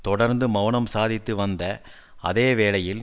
தொடர்ந்து மெளனம் சாதித்து வந்த அதே வேளையில்